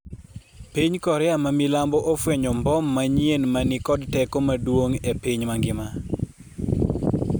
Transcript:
piny Korea ma milambo ofwenyo mbom manyien ma ni kod teko maduong' e piny mangima